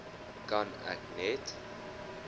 kan ek net